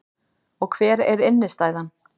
Og hver er innstæðan